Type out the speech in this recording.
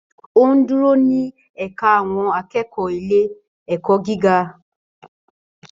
Ó dúró ní ẹ̀ka àwọn akẹ́kọ̀ọ́ ilé-ẹ̀kọ́ gíga.